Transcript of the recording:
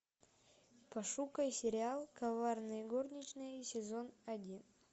пошукай сериал коварные горничные сезон один